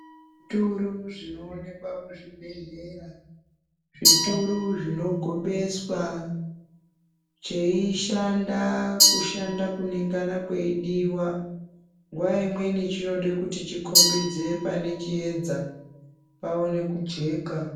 Zvituru zvinoonekwa kuzvibhehlera zvituru zvinogobeswa zveishanda kushanda kunengana kweidiwa nguwa imweni chinoda kuti chikombidze pane chiedza paone kujeka.